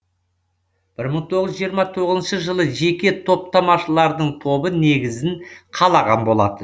бір мың тоғыз жүз жиырма тоғызыншы жылы жеке топтамашылардың тобы негізін қалаған болатын